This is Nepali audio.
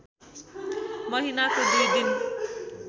महिनाको दुई दिन